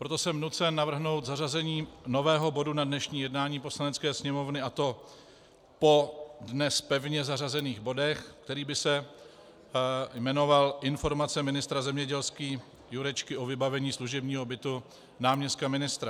Proto jsem nucen navrhnout zařazení nového bodu na dnešní jednání Poslanecké sněmovny, a to po dnes pevně zařazených bodech, který by se jmenoval Informace ministra zemědělství Jurečky o vybavení služebního bytu náměstka ministra.